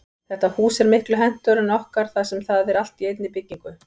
Þetta hús er miklu hentugra en okkar þar sem það er allt í einni byggingu.